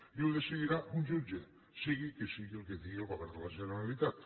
i ho decidirà un jutge sigui el que sigui el que digui el govern de la generalitat